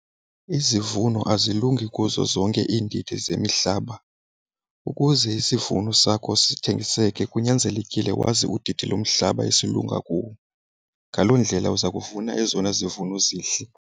Izivuno azilungi kuzo zonke iindidi zemihlaba. Ukuze isivuno sakho sithengisele kunyanzelekile wazi udidi lomhlaba esilunga kuwo, ngaloo ndlela uza kuvuna ezona zivuno zihle.